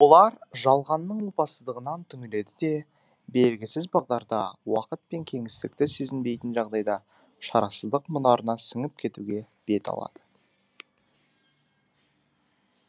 олар жалғанның опасыздығынан түңіледі де белгісіз бағдарда уақыт пен кеңістікті сезінбейтін жағдайда шарасыздық мұнарына сіңіп кетуге бет алады